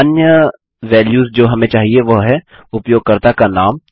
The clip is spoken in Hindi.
अब अन्य वैल्यूस जो हमें चाहिए वह हैं उपयोगकर्ता का नाम